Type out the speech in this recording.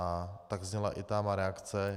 A tak zněla i ta má reakce.